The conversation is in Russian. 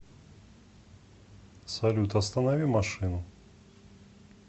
салют останови машину